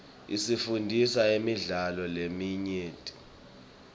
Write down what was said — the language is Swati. isifundzisa imidlalo leminyenti